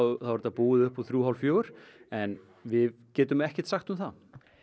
er þetta búið upp úr þrjú hálf fjögur en við getum ekkert sagt um það